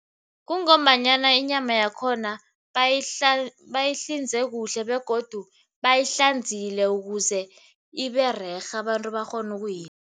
Kungombanyana inyama yakhona bayihlinze kuhle begodu bayihlanzile ukuze ibererhe abantu bakghone